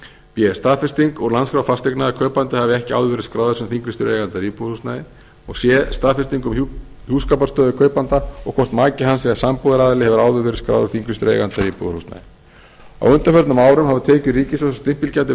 b staðfesting úr landskrá fasteigna að kaupandi hafi ekki áður verið skráður sem þinglýstur eigandi að íbúðarhúsnæði c staðfesting um hjúskaparstöðu kaupanda og hvort maki hans eða sambúðaraðili hefur áður verið skráður þinglýstur eigandi að íbúðarhúsnæði á undanförnum árum hafa tekjur ríkissjóðs af stimpilgjaldi